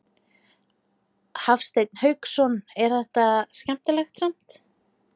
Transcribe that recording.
Hafsteinn Hauksson: En er þetta skemmtilegt samt?